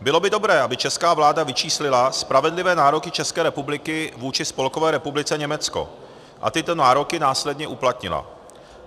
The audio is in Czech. Bylo by dobré, aby česká vláda vyčíslila spravedlivé nároky České republiky vůči Spolkové republice Německo a tyto nároky následně uplatnila.